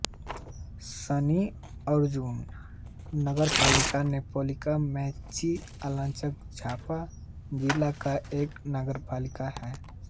शनिअर्जुन नगरपालिका नेपालके मेची अंचलके झापा जिला का एक नगरपालिका है